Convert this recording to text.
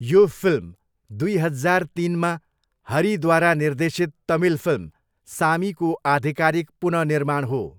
यो फिल्म दुई हजार तिनमा हरिद्वारा निर्देशित तमिल फिल्म सामीको आधिकारिक पुनःनिर्माण हो।